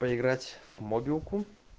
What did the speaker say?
проиграть мобилку